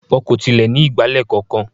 Wọn kò tilẹ̀ ní ìgbálẹ̀ kankan.